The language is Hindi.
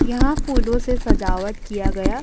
यहां फूलों से सजावट किया गया--